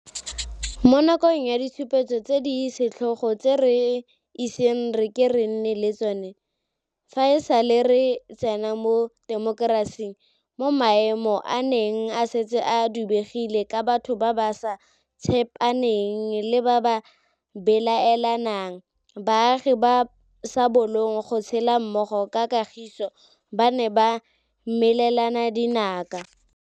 Mo nakong ya ditshupetso tse di setlhogo tse re iseng re ke re nne le tsona fa e sale re tsena mo temokerasing, mo maemo a neng a setse a dubegile ka batho ba ba sa tshepaneng le ba ba belaelanang, baagi ba ba sa bolong go tshela mmogo ka kagiso ba ne ba melelana dinaka.